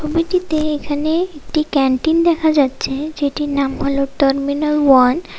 ছবিটিতে এখানে একটি ক্যান্টিন দেখা যাচ্ছে যেটার নাম হলো টার্মিনাল ওয়ান ।